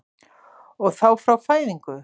Og þá frá fæðingu?